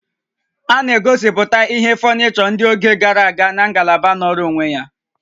A na-egosiputa ihe fọnịchọ ndị oge gara aga na ngalaba nọọrọ onwe ya